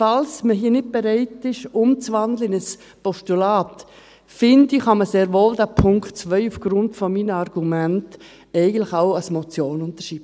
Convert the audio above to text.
Falls man hier nicht bereit ist, in ein Postulat zu wandeln, finde ich, kann man sehr wohl diesen Punkt 2 aufgrund meiner Argumente eigentlich auch als Motion unterschreiben.